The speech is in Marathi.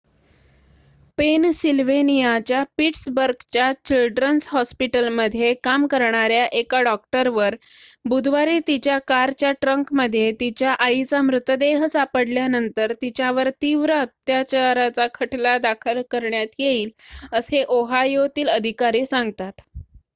पेनसिल्व्हेनियाच्या पिट्सबर्गच्या चिल्ड्रन्स हॉस्पिटलमध्ये काम करणार्‍या एका डॉक्टरवर बुधवारी तिच्या कारच्या ट्रंकमध्ये तिच्या आईचा मृतदेह सापडल्यानंतर तिच्यावर तीव्र अत्याचाराचा खटला दाखल करण्यात येईल असे ओहायोतील अधिकारी सांगतात